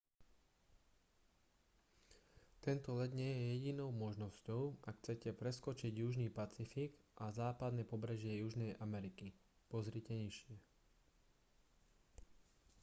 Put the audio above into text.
tento let nie je jedinou možnosťou ak chcete preskočiť južný pacifik a západné pobrežie južnej ameriky. pozri nižšie